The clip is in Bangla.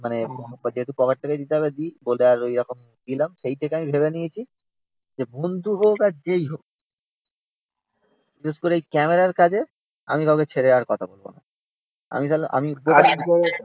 যেহেতু পকেট থেকে দিতে হবে দিই। বলে আর ওইরকম দিলাম। সেই থেকে আমি ভেবে নিয়েছি যে বন্ধু হোক আর যেইহোক বিশেষ করে এই ক্যামেরা র কাজে আমি কাউকে ছেড়ে আর কথা বলব না আমি আমি